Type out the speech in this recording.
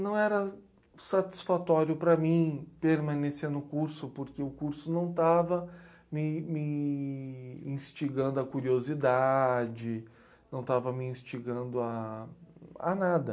Não era satisfatório para mim permanecer no curso, porque o curso não estava me ime nstigando à curiosidade, não estava me instigando a a nada.